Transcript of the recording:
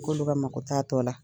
K'olu ka mako t'a tɔla